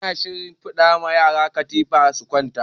ana shinfiɗa wa yara katifa su kwanta